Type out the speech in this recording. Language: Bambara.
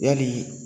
Yali